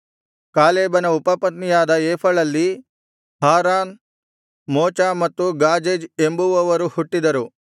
ಕಾಲೇಬನ ಉಪಪತ್ನಿಯಾದ ಏಫಳಲ್ಲಿ Haran Moza ಮತ್ತು ಗಾಜೇಜ್ ಎಂಬುವವರು ಹುಟ್ಟಿದರು